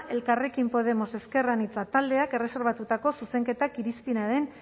elkarrekin podemos ezker anitza taldeak erreserbatutako zuzenketak irizpenaren